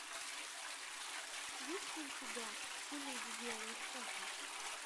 есть ли у тебя все леди делают это